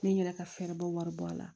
N ye n yɛrɛ ka fɛɛrɛ bɔ wari bɔ a la